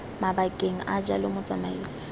mabakeng a a jalo motsamaisi